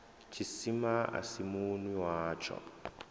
tshisima a si munwi watsho